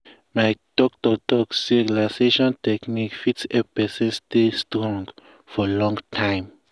my doctor talk say relaxation technique fit help person stay strong for long time.